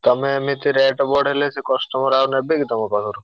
ତମେ ଏମିତି rate ବଢେଇଲେ ସେ customer ଆଉ ନେବେ କି ତମ ପାଖରୁ?